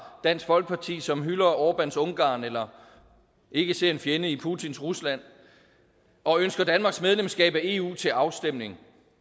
dansk folkeparti som hylder orbáns ungarn eller ikke ser en fjende i putins rusland og ønsker danmarks medlemskab af eu til afstemning